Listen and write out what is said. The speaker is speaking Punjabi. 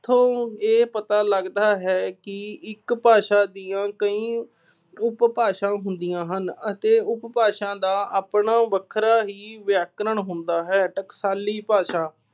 ਇੱਥੋਂ ਇਹ ਪਤਾ ਲੱਗਦਾ ਹੈ ਕਿ ਇੱਕ ਭਾਸ਼ਾ ਦੀਆ ਕਈ ਉਪਭਾਸ਼ਾ ਹੁੰਦੀਆਂ ਹਨ ਅਤੇ ਉਪਭਾਸ਼ਾ ਦਾ ਆਪਣਾ ਵੱਖਰਾ ਹੀ ਵਿਆਕਰਣ ਹੁੰਦਾ ਹੈ। ਟਕਸਾਲੀ ਭਾਸ਼ਾ